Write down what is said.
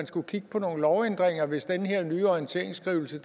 skulle kigges på nogle lovændringer hvis den her nye orienteringsskrivelse